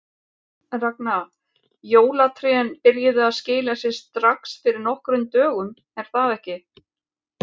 Ragna, jólatrén byrjuðu að skila sér strax fyrir nokkrum dögum er það ekki?